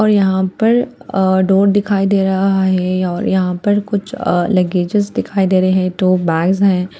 और यहाँ पर अह डोर दिखाई दे रहा है ये और अह यहाँ पर कुछ अ लगेजेस दिखाई दे रहे हैं दो बैग्स हैं ।